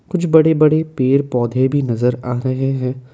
कुछ बड़े बड़े पेड़ पौधे भी नजर आ रहे हैं ।